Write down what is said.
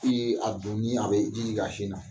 a bɛ ji jigi a sin na.